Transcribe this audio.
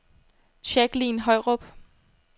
Jacqueline Højrup